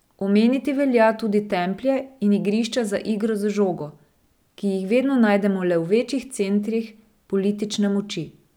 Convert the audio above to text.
Omeniti velja tudi templje in igrišča za igro z žogo, ki jih vedno najdemo le v večjih centrih politične moči.